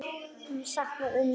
Ég sakna ömmu minnar.